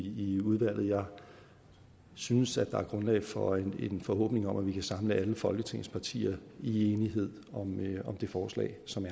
i udvalget jeg synes der er grundlag for en forhåbning om at vi kan samle alle folketingets partier i enighed om det forslag som